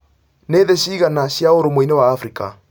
nĩ thĩ cigana cĩa ũrũmweinĩ wa africa